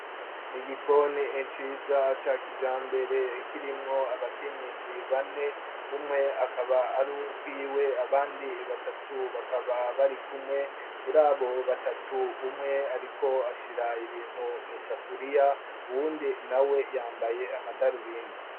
Egikoni enciza aca kija mbere kirimwo abakenyezi bane umwe akaba ari arukwiwe abandi batatu bakaba bari kumwe muri abo batatu umwe, ariko ashira ibintu mw'isafuriya uwundi na we yambaye amadarubindi.